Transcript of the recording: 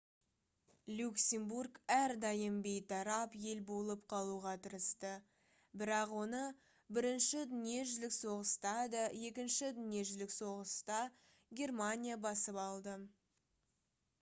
люксембург әрдайым бейтарап ел болып қалуға тырысты бірақ оны бірінші дүниежүзілік соғыста да екінші дүниежүзілік соғысда германия басып алды